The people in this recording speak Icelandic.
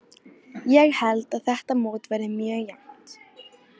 Ég held að þetta mót verði mjög jafnt.